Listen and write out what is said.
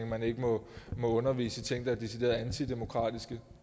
man ikke må undervise i ting der er decideret antidemokratiske